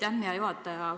Aitäh, hea juhataja!